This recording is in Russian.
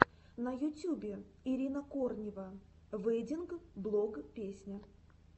на ютюбе ирина корнева вэддинг блог песня